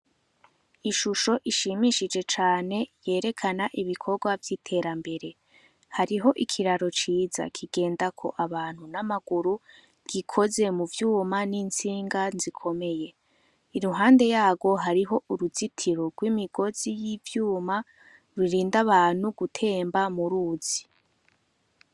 Ishusho ishimishije cane yerekana ibikorwa vy'iterambere hariho ikiraro ciza kigenda ko abantu n'amaguru gikoze mu vyuma n'intsinga zikomeye iruhande yabo hariho uruzitiro rw'imigozi y'ivyuma rurinda abantu gutemba a muruzi.